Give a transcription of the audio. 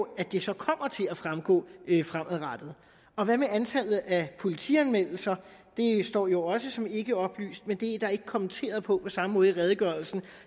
at det så kommer til at fremgå fremadrettet og hvad med antallet af politianmeldelser det står jo også som ikke oplyst men det er ikke kommenteret på samme måde i redegørelsen